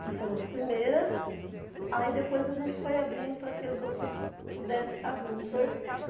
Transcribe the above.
que foram as primeiras, aí depois a gente foi abrindo para que os outros pudessem estar vindo.